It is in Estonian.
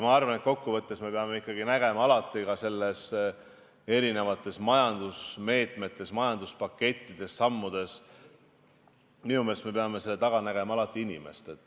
Ma arvan, et kokku võttes me peame ikkagi nägema alati ka majandusmeetmete, majanduspakettide ja sammude taga inimest.